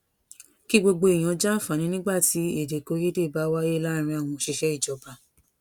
kí gbogbo èèyàn jàǹfààní nígbà tí èdèkòyédè bá wáyé láàárín àwọn òṣìṣẹ ìjọba